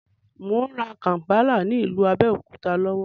Mò ń rà kàmpálà ní ìlú Abẹ́òkúta lọ́wọ́